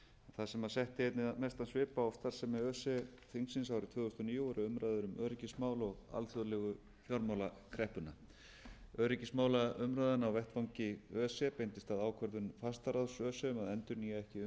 það sem setti einna mestan svip á starfsemi öse þingsins árið tvö þúsund og níu voru umræður um öryggismál og alþjóðlegu fjármálakreppuna öryggismálaumræðan á vettvangi öse beindist að ákvörðun fastaráðs öse um að endurnýja